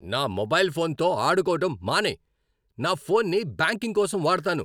నా మొబైల్ ఫోన్తో ఆడుకోవడం మానేయ్. నా ఫోన్ని బ్యాంకింగ్ కోసం వాడుతాను.